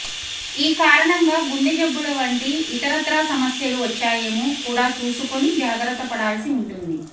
ఈ కారణంగా గుండె జబ్బుల వంటి ఇతరత్రా సమస్యలు వచ్చాయేమో కూడా చూసుకుని జాగ్రత్తపడాల్సి ఉంటుంది